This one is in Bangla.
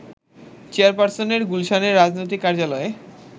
চেয়ারপারসনের গুলশানের রাজনৈতিক কার্যালয়ে